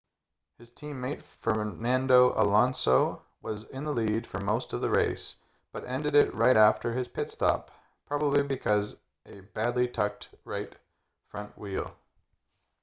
his teammate fernando alonso was in the lead for most of the race but ended it right after his pit-stop probably because a badly tucked right front wheel